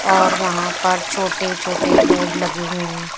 और वहा पर छोटे-छोटे बोर्ड लगे हुए है।